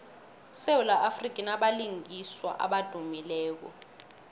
isewula afrika inabalingiswa abadumileko